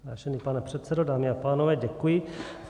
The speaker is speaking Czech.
Vážený pane předsedo, dámy a pánové, děkuji.